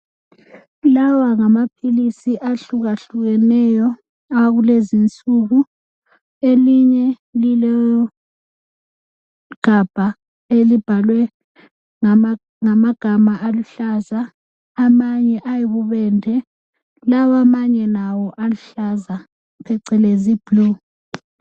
lawa ngamaphilisi ahlukahlukeneyo akulezinsuku elinye lilegabha elibhalwe ngamagama aluhlaza amanye ayibubende lawa amanye lawo aluhlaza phecelezi blue